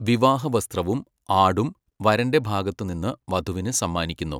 വിവാഹ വസ്ത്രവും 'ആഡും' വരൻ്റെ ഭാഗത്തു നിന്ന് വധുവിന് സമ്മാനിക്കുന്നു.